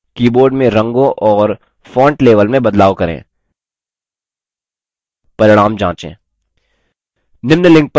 keyboard में रंगों और font level में बदलाव करें परिणाम जाँचे